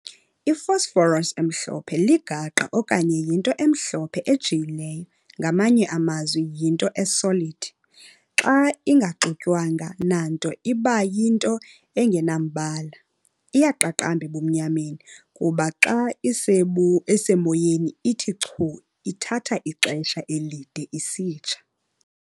I-phosphorus emhlophe ligaqa okanye yinto emhlophe ejiyileyo ngamanye amazwi yinto e-solid. Xa ingaxutywanga nanto iba yinto engenambala. Iyaqaqamba ebumnyameni kuba xa isemoyeni ithi chu ithatha ixesha elide "isitsha".